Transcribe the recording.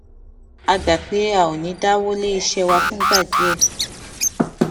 a gbà pé a ò ní dáwó lé iṣé wa fúngbà díè